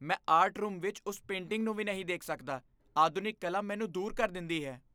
ਮੈਂ art room ਵਿੱਚ ਉਸ ਪੇਂਟਿੰਗ ਨੂੰ ਵੀ ਨਹੀਂ ਦੇਖ ਸਕਦਾ, ਆਧੁਨਿਕ ਕਲਾ ਮੈਨੂੰ ਦੂਰ ਕਰ ਦਿੰਦੀ ਹੈ।